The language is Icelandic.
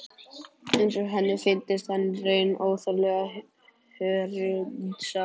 Eins og henni fyndist hann í raun óþarflega hörundsár.